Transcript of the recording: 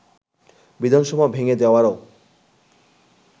বিধানসভা ভেঙ্গে দেওয়ারও